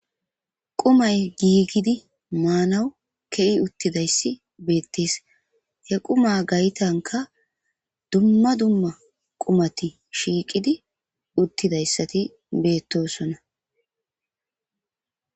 Qumay giigidi maanaw ke'i uttidayssi beettees he quma gaytanka dumma dumma qumati shiiqidi uttidayssati bettoosona.